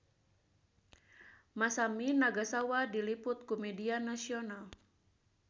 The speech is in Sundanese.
Masami Nagasawa diliput ku media nasional